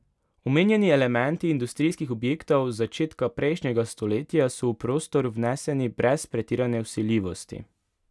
Omenjeni elementi industrijskih objektov z začetka prejšnjega stoletja so v prostor vneseni brez pretirane vsiljivosti.